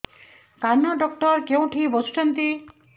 କାନ ଡକ୍ଟର କୋଉଠି ବସୁଛନ୍ତି